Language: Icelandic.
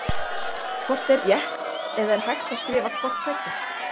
Hvort er rétt eða er hægt að skrifa hvort tveggja?